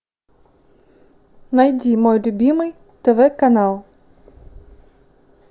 найди мой любимый тв канал